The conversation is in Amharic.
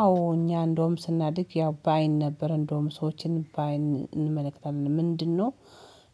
አዎ እኛ እንደውም ስናድግ ያው በአይን ነበር እንደውም ሰዎችን በአይን እንመለከታለን ምንድነው?